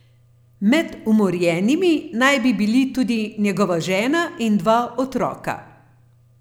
Med umorjenimi naj bi bili tudi njegova žena in dva otroka.